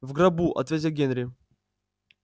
в гробу ответил генри